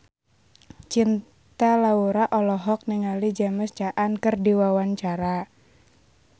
Cinta Laura olohok ningali James Caan keur diwawancara